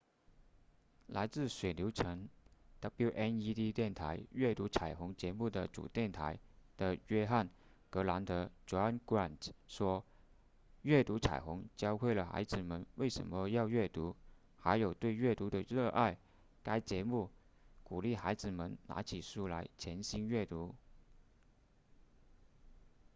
来自水牛城 wned 电台阅读彩虹”节目的主电台的约翰·格兰特 john grant 说：阅读彩虹教会了孩子们为什么要阅读还有对阅读的热爱——该节目鼓励孩子们拿起书来潜心阅读